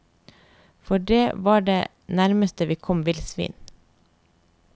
For det var det nærmeste vi kom villsvin.